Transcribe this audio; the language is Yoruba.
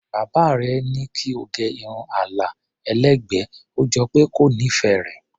Bàbá rẹ̀ ní kí ó gẹ irun àlà ẹlẹ́gbẹ̀ẹ́, ó jọ pé kò nífẹ̀ẹ́ rẹ̀.